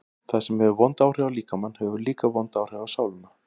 Það sem hefur vond áhrif á líkamann hefur líka vond áhrif á sálina.